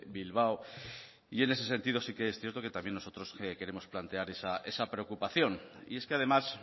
bilbao y en ese sentido sí que es cierto que también nosotros queremos plantear esa preocupación y es que además